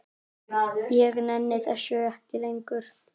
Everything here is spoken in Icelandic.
Ég nenni þessu ekki lengur.